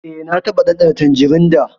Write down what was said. E, na taɓa ɗanɗana tanjirin da.